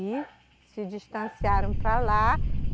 E se distanciaram para lá.